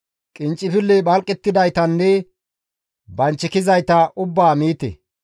Qinccifilley phalqettidaytanne banchikizayta ubbaa miite.